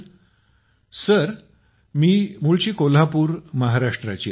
अभिज्ञाः sir मूळची कोल्हापूर महाराष्ट्राची आहे